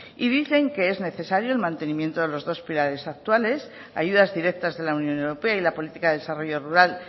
y dicen que es necesario el mantenimiento de los dos pilares actuales ayudas directas de la unión europea y la política de desarrollo rural